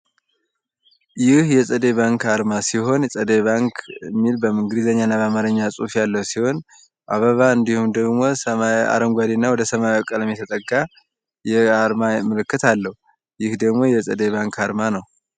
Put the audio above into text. ይህ የፀደይ ባንክ አርማ ሲሆን ፀደይ ባንክ የሚል በእንግሊዘኛና በአማርኛ ፅሁፍ ያለው ሲሆን አበባ እንዲሁም ደሞ አረጓዴ ወደሰማያዊ ቀለም የተጠጋ የአርማ ምልክት አለው ይህ ደሞ የፀደይ ባንክ አርማ ነው።